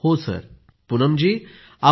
पूनम नौटियालः हांजी सर